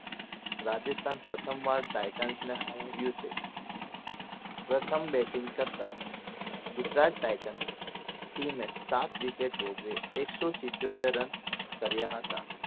રાજસ્થાન પ્રથમ વાર ટાઇટલ્સને હરાવ્યું છે પ્રથમ batting કરતા ગુજરાત ટાઇટન્સ team એ સાત wicket ભોગવી એકસો સીતોતેર રન કર્યા હતા